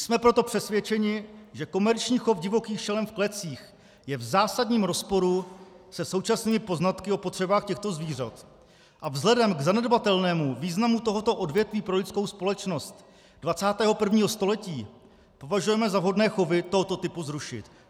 Jsme proto přesvědčeni, že komerční chov divokých šelem v klecích je v zásadním rozporu se současnými poznatky o potřebách těchto zvířat, a vzhledem k zanedbatelnému významu tohoto odvětví pro lidskou společnost 21. století považujeme za vhodné chovy tohoto typu zrušit.